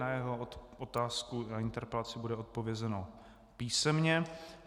Na jeho otázku, na interpelaci bude odpovězeno písemně.